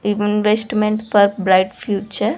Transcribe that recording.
Investment for bright future .